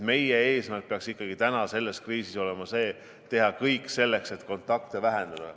Meie eesmärk peaks täna selles kriisis ikkagi olema see: teha kõik selleks, et kontakte vähendada.